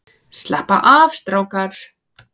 Slappa af strákar!